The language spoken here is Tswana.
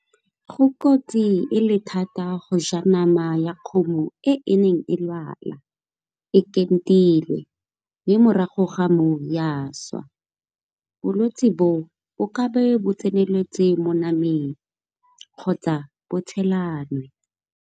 Go kotsi e le thata go ja nama ya kgomo e neng e lwala e entilwe, mme morago ga moo ya swa bolwetsi bo bo ka be bo tseneletse mo namang kgotsa bo tshelwane.